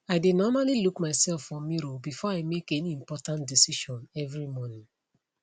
i dae normally look myself for mirror before i make any important decision every morning